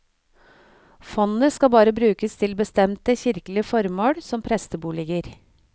Fondet skal bare brukes til bestemte kirkelige formål, som presteboliger.